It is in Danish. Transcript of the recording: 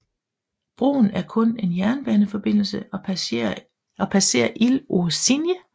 Broen er kun en jernbaneforbindelse og passerer Île aux Cygnes